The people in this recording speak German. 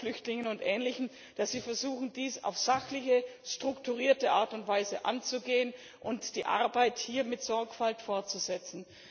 für dringend notwendig, dass Sie versuchen, dies auf sachliche, strukturierte Art und Weise anzugehen und die Arbeit hier mit Sorgfalt fortzusetzen.